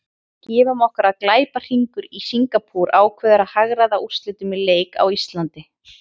Gefum okkur að glæpahringur í Singapúr ákveði að hagræða úrslitum í leik á Íslandi.